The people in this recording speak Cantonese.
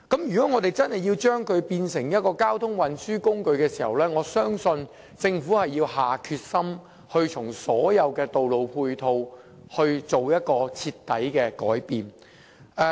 如果真的要把單車變成一種交通運輸工具，我相信政府要下定決心，在各項道路配套上作出徹底的改變。